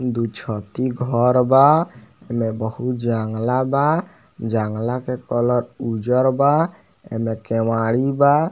दू छति घर बा इमें बहुत जंगला बा जंगला के कलर उज्जर बा एमें केवारी बा।